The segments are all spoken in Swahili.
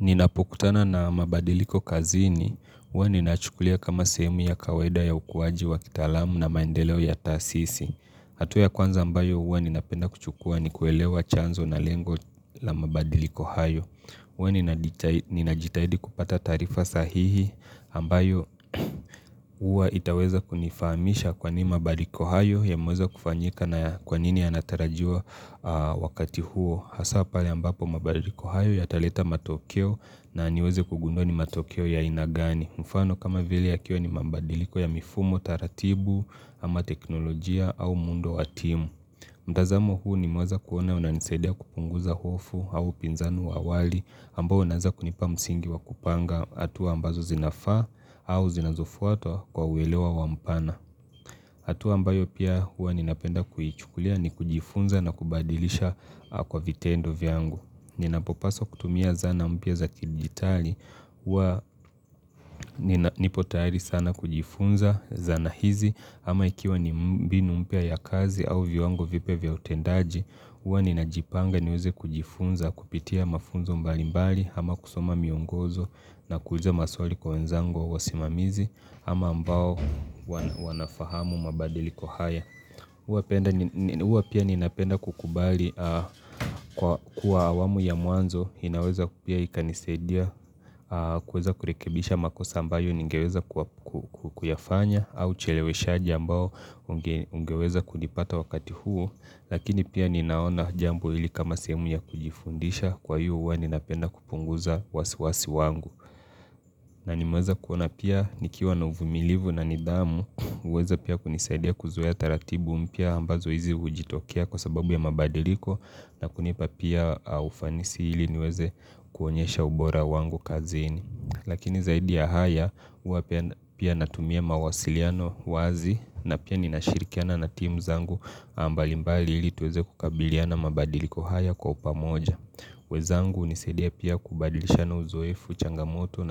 Ninapokutana na mabadiliko kazini, huwa ninayachukulia kama sehemu ya kawaida ya ukuwaji wa kitalamu na maendeleo ya tasisi. Hatua ya kwanza ambayo huwa ninapenda kuchukua ni kuelewa chanzo na lengo la mabadiliko hayo. Huwa ninaditahidi najitahidi kupata taarifa sahihi ambayo mmmmm huwa itaweza kunifamisha kwanini mabadiliko hayo yameweza kufanyika na kwanini yanatarajiwa wakati huo. Hasaa pale ambapo mabadiliko hayo yataleta matokeo naniweze kugundua ni matokeo ya aina gani. Mfano kama vile yakiwa ni mabadiliko ya mifumo, taratibu, ama teknolojia au muundo wa timu. Mtazamo huu nimeweza kuona unanisadia kupunguza hofu au upinzani wa awali ambao unaeza kunipa msingi wa kupanga hatua ambazo zinafaa au zinazufuatwa kwa uelewa wampana. Hatua ambayo pia huwa ninapenda kuichukulia ni kujifunza na kubadilisha aaa kwa vitendo vyangu. Ninapopaswa kutumia zana mpya za kidigitali hua nipotayari sana kujifunza zana hizi ama ikiwa ni m mbinu mpya ya kazi au viwango vipyaa vya utendaji hua ninajipanga ni uweze kujifunza kupitia mafunzo mbalimbali ama kusoma miongozo na kuuliza maswali kwa wenzango au wa simamizi ama ambao huwa na wanafahamu mabadilliko haya huwa penda n Huwa pia ninapenda kukubali aaa kwa kuwa wamu ya mwanzo inaweza ku pia ikanisadia aaa kuweza kurekebisha makosa ambayo ningeweza kuwa ku kuyafanya au ucheleweshaji ambao ungeweza kulipata wakati huo. Lakini pia ninaona jambo hili kama sehemu ya kujifundisha kwa hiyo huwa ninapenda kupunguza wasiwasi wangu na nimeweza kuona pia nikiwa na uvumilivu na nidhamu hmf huweza pia kunisaidia kuzoea taratibu mpya ambazo hizi hujitokea kwa sababu ya mabadiliko na kunipa pia ufanisi iliniweze kuonyesha ubora wangu kazini. Lakini zaidi ya haya huwa pia natumia mawasiliano wazi na pia ninashirikiana na timu zangu aaa mbalimbali ilituweze kukabiliana mabadiliko haya kwa upamoja wenzangu hunisidia pia kubadilishana uzoefu, changamoto,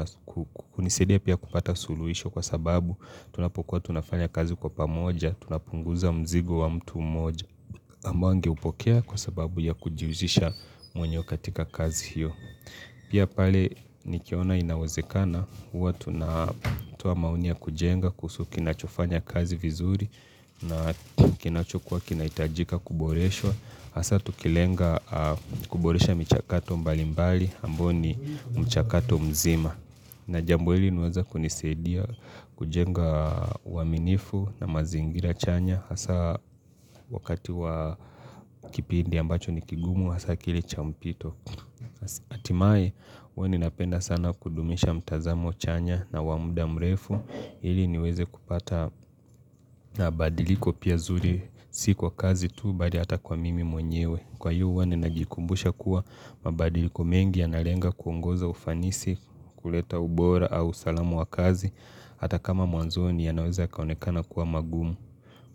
hunisidia pia kupata suluhisho kwa sababu, tunapokuwa tunafanya kazi kwa pamoja, tunapunguza mzigo wa mtu moja ambao angeupokea kwa sababu ya kujujisha mwenyewe katika kazi hiyo. Pia pale nikiona inawazekana, huwa tuna toa maoni ya kujenga kuhusu kinachofanya kazi vizuri na kinachukua kinahitajika kuboreshwa hasa tukilenga aaaaa kuboresha michakato mbalimbali ambayo ni mchakato mzima. Na jambo hili limeweza kunisaidia kujenga aaa uaminifu na mazingira chanya hasaa wakati wa kipindi ambacho nikigumu hasaa kilicho mpito hatimaye huwa ninapenda sana kudumisha mtazamo chanya na wa muda mrefu ili niweze kupata na badiliko pia zuri s si kwa kazi tu! Bali hata kwa mimi mwenyewe. Kwa hiyo huwa ninajikumbusha kuwa mabadiliko mengi ya nalenga kuongoza ufanisi, kuleta ubora au usalamu wa kazi Hata kama mwanzoni yanaweza yakaonekana kuwa magumu.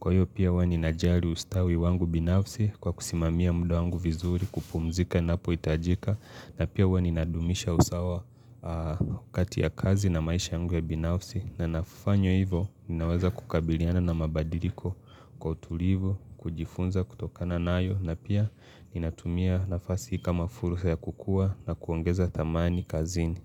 Kwa hiyo pia huwa ninajali ustawi wangu binafsi kwa kusimamia mda wangu vizuri kupumzika napohitajika. Na pia huwa ninadumisha usawa aaaaa kati ya kazi na maisha yangu ya binafsi na nafanywa hivyo ninaweza kukabiliana na mabadiliko kwa utulivu kujifunza kutokana nayo na pia ninatumia nafasi hii kama furusa ya kukua na kuongeza tamani kazini.